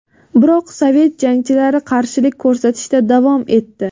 Biroq sovet jangchilari qarshilik ko‘rsatishda davom etdi.